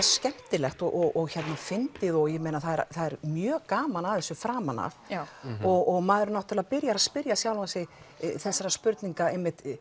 skemmtilegt og fyndið og það er mjög gaman að þessu framan af og maður byrjar að spyrja sig þessarar spurningar